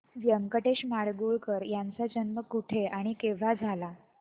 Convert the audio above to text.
व्यंकटेश माडगूळकर यांचा जन्म कुठे आणि केव्हा झाला